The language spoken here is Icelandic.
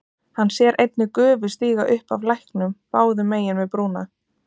Hann sér einnig gufu stíga upp af læknum báðum megin við brúna.